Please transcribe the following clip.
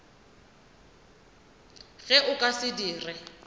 ge o ka se dire